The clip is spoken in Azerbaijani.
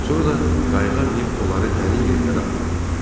Sonra da qayığa minib onları dərin yerlərə aparırlar.